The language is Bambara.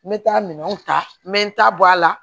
N bɛ taa minɛnw ta n bɛ n ta bɔ a la